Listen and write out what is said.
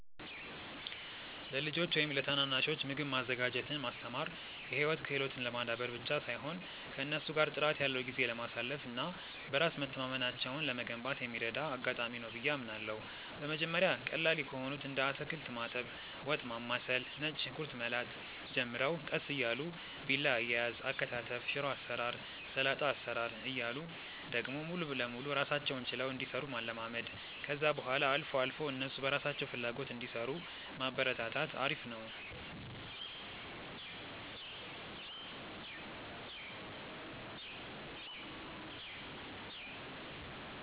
ለልጆች ወይም ለታናናሾች ምግብ ማዘጋጀትን ማስተማር የህይወት ክህሎትን ለማዳበር ብቻ ሳይሆን ከእነሱ ጋር ጥራት ያለው ጊዜ ለማሳለፍ እና በራስ መተማመናቸውን ለመገንባት የሚረዳ አጋጣሚ ነው ብዬ አምናለሁ። በመጀመሪያ ቀላል ከሆኑት እንደ አታክልት ማጠብ፣ ወጥ ማማሰል፣ ነጭ ሽንኩርት መላጥ ጀምረው ቀስ እያሉ ቢላ አያያዝ፣ አከታተፍ፣ ሽሮ አሰራር፣ ሰላጣ አሰራር እያሉ ደግሞ ሙሉ ለሙሉ ራሳቸውን ችለው እንዲሰሩ ማለማመድ፣ ከዛ በኋላ አልፎ አልፎ እነሱ በራሳቸው ፍላጎት እንዲሰሩ ማበረታታት አሪፍ ነው።